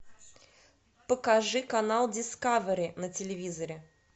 покажи канал дискавери на телевизоре